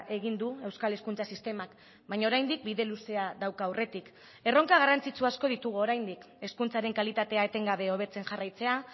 egin du euskal hezkuntza sistemak baina oraindik bide luzea dauka aurretik erronka garrantzitsu asko ditugu oraindik hezkuntzaren kalitatea etengabe hobetzen jarraitzea